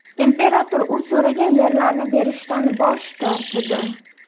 Imperator u so‘ragan yerlarni berishdan bosh tortdi.